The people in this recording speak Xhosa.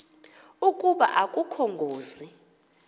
ukuba akukho ngozi